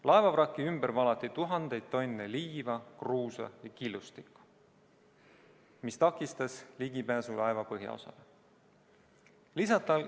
Laevavraki ümber valati tuhandeid tonne liiva, kruusa ja killustikku, mis takistas ligipääsu laeva põhjaosale.